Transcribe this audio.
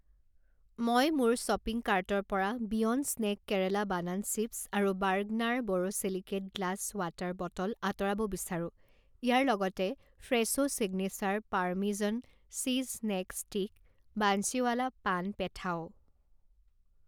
মই মোৰ শ্বপিং কাৰ্টৰ পৰা beyond snack Kerala banana chips আৰু Bergner borosilicate glass water bottle আঁতৰাব বিচাৰো। ইয়াৰ লগতে Fresho signature parmesan cheese snack stick, Bansiwala paan পেথাও।